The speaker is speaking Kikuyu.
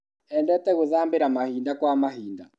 Endete gũthambĩra mahinda kwa mahinda.